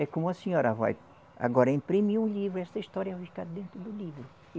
É como a senhora vai agora imprimir um livro, essa história vai ficar dentro do livro.